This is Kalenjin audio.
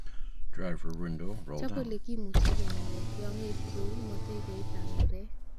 Chop ele kimuche kenamen tiongik kou motegoit ab murek.